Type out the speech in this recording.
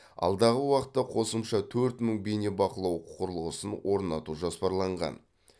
алдағы уақытта қосымша төрт мың бейнебақылау құрылғысын орнату жоспарланған